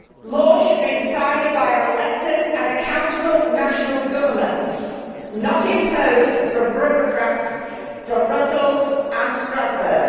Laws should be decided by our elected and accountable national governments, not imposed from bureaucrats from Brussels and Strasbourg.